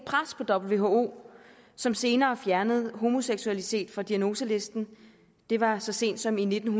et who som senere fjernede homoseksualitet fra diagnoselisten det var så sent som i nitten